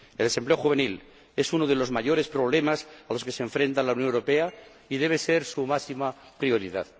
El desempleo juvenil es uno de los mayores problemas a los que se enfrenta la Unión Europea y debe ser su máxima prioridad.